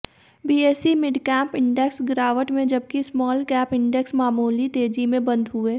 BSE midcap index गिरावट में जबकि स्मॉलकैप इंडेक्स मामूली तेजी में बंद हुए